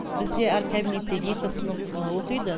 бізде әр кабинетте екі сынып оқиды